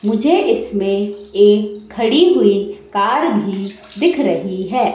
मुझे इसमें एक खड़ी हुई कार भी दिख रही है।